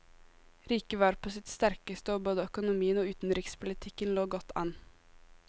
Riket var på sitt sterkeste, og både økonomien og utenrikspolitikken lå godt an.